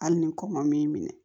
Hali ni kɔn ma min minɛ